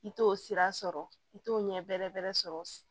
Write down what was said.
I t'o sira sɔrɔ i t'o ɲɛ bɛrɛ bɛrɛ sɔrɔ